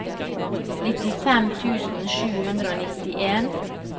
nittifem tusen sju hundre og nittien